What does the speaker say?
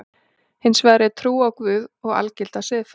Hins vegar er trú á Guð og algilda siðfræði.